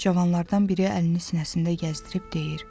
Cavanlardan biri əlini sinəsində gəzdirib deyir: